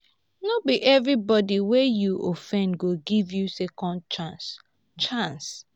no be everybody wey you offend go give you second chance. chance.